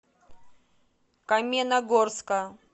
каменногорска